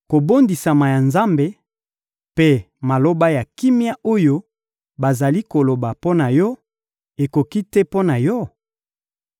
Kobondisama ya Nzambe mpe maloba ya kimia oyo bazali koloba mpo na yo, ekoki te mpo na yo?